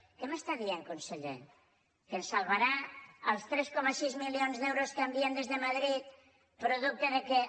què em diu conseller que ens salvaran els tres coma sis milions d’euros que envien des de madrid producte del fet que